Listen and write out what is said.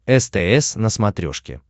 стс на смотрешке